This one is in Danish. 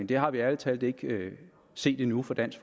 det har vi ærlig talt ikke set endnu fra dansk